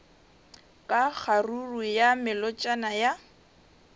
ka kgaruru ya melotšana ya